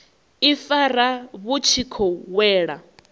ifara vhu tshi khou wela